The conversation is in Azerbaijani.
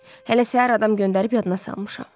Hələ səhər adam göndərib yadına salmışam.